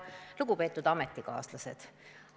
Lugupeetud ametikaaslased!